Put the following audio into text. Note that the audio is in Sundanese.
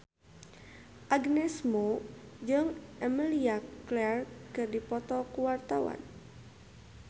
Agnes Mo jeung Emilia Clarke keur dipoto ku wartawan